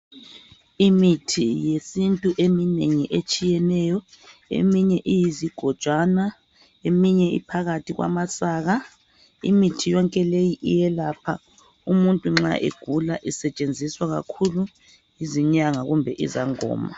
Imithi yesintu eminengi etshiyeneyo, eminye iyizigojwana, eminye iphakathi kwamasaka. Imithi yonke leyi iyelapha umuntu nxa egula isetshenziswa kakhulu yizinyanga kumbe izangoma.